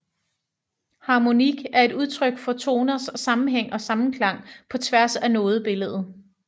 Harmonik er et udtryk for toners sammenhæng og sammenklang på tværs af nodebilledet